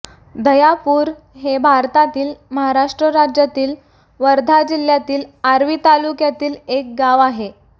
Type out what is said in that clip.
दह्यापूर हे भारतातील महाराष्ट्र राज्यातील वर्धा जिल्ह्यातील आर्वी तालुक्यातील एक गाव आहे